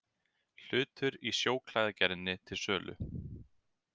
Hlutur í Sjóklæðagerðinni til sölu